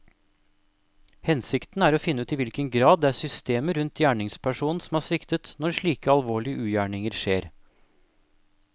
Hensikten er å finne ut i hvilken grad det er systemet rundt gjerningspersonen som har sviktet når slike alvorlige ugjerninger skjer.